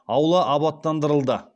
аула абаттандырылды